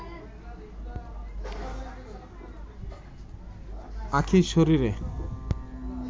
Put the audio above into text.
আখিঁর শরীরে